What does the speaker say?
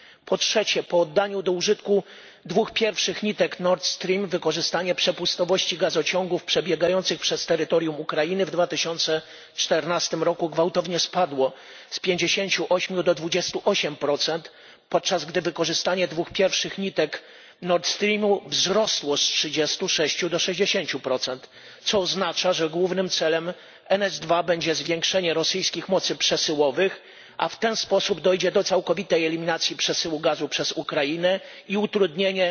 Po trzecie, po oddaniu do użytku dwóch pierwszych nitek Nord Stream wykorzystanie przepustowości gazociągów przebiegających przez terytorium Ukrainy w 2014 roku gwałtownie spadło z 58 do 28, podczas gdy wykorzystanie dwóch pierwszych nitek Nord Streamu wzrosło z 36 do 60, co oznacza, że głównym celem Nord Stream 2 będzie zwiększenie rosyjskich mocy przesyłowych, a w ten sposób dojdzie do całkowitej eliminacji przesyłu gazu przez Ukrainę i utrudnienia